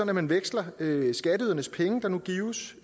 at man veksler skatteydernes penge der nu gives